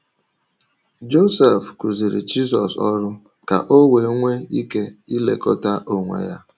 Josef kụziiri Jizọs ọrụ ka o wee nwee ike ilekọta onwe ya.